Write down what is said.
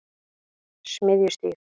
Smiðjustíg